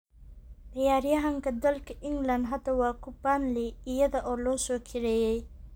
Ciyaaryahankaa dalka England hadda waa ku Burnley iyada oo la soo kirayray.